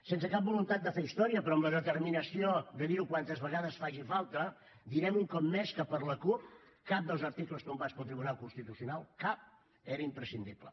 sense cap voluntat de fer història però amb la determinació de dir ho quantes vegades faci falta direm un cop més que per la cup cap dels articles tombats pel tribunal constitucional cap era imprescindible